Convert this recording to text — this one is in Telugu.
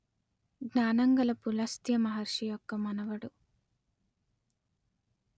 జ్ఞానంగల పులస్త్య మహర్షి యొక్క మనవడు